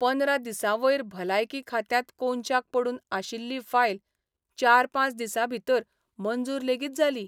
पंदरा दिसांवयर भलायकी खात्यांत कोनशाक पडून आशिल्ली फायल चार पांच दिसांभितर मंजूर लेगीत जाली.